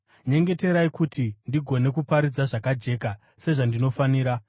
Nyengeterai kuti ndigone kuparidza zvakajeka, sezvandinofanira.